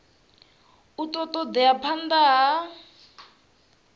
a ṱo ḓea phanḓa ha